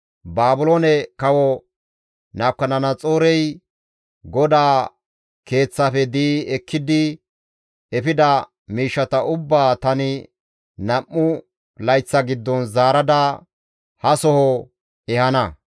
Baabiloone kawo Nabukadanaxoorey GODAA Keeththaafe di7i ekkidi efida miishshata ubbaa tani nam7u layththa giddon zaarada ha soho ehana.